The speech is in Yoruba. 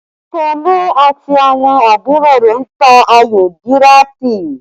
Tolu àti àwọn àbúrò rẹ̀ ń ta ayò díràtì